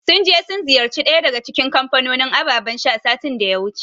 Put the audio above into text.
Sun je sun ziyarci ɗaya daga cikin kamfanonin abababan sha, satin da ya wuce.